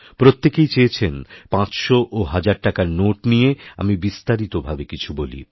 প্রত্যেকেই চেয়েছেন পাঁচশো ওহাজার টাকার নোট নিয়ে আমি বিস্তারিত ভাবে কিছু বলি